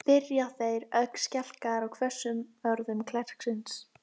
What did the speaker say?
spyrja þeir, ögn skelkaðir á hvössum orðum klerksins.